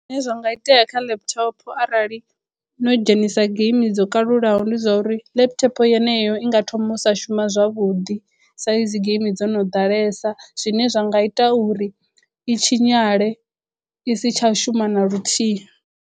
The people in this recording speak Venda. Zwine zwa nga itea kha laptop arali no dzhenisa geimi dzo kalulaho ndi zwa uri laptop yeneyo i nga thoma u sa shuma zwavhuḓi sa izwi geimi dzo no ḓalesa zwine zwa nga ita uri i tshinyale i si tsha shuma na luthihi.